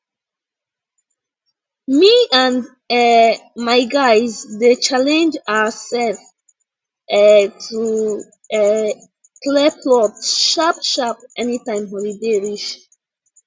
me and um my guys dey challenge ourself um to um clear plot sharpsharp anytime holiday reach